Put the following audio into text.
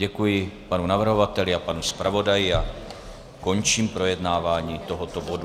Děkuji panu navrhovateli a panu zpravodaji a končím projednávání tohoto bodu.